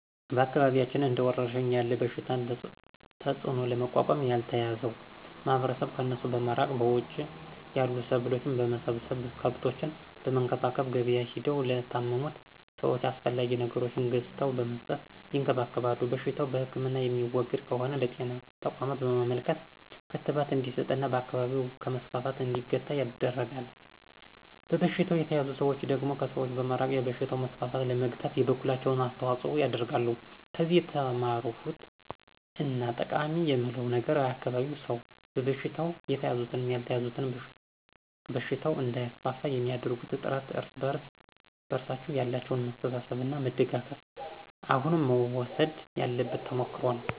በአካባቢያችን እንደ ወረርሽኝ ያለ በሽታን ተጽዕኖ ለመቋቋም ያልተያዘው ማህበረሰብ ከእነሱ በመራቅ እና በውጭ ያሉ ሰብሎችን በመሰብሰብ፣ ከብቶችን በመንከባከብ፣ ገብያ ሄደው ለታመሙት ሰወች አስፈላጊ ነገሮችን ገዝተው በመስጠት ይንከባከባሉ። በሽታው በህክምና የሚወገድ ከሆነ ለብጤና ተቋም በማመልከት ክትባት እንዲስጥ እና በአካባቢው ከመስፋፋት እንዲገታ ይደረጋል። በበሽታው የተያዙ ሰዎች ደግሞ ከሰዎች በመራቅ የበሽታውን መስፋፋት ለመግታት የበኩላቸውን አስተዋፅኦ ያሳድራሉ። ከዚህ የተማርኩት እና ጠቃማ የምለው ነገር የአካባቢው ሰው በበሽታው የተያዙትም ያልተያዙትም በሽታው እንዳይስፋፋ የሚአደርጉት ጥረት እና እርስ በርሳቸው ያላቸው መተሳሰብ እና መደጋገፍ አሁንም መወሰድ ያለበት ተሞክሮ ነው።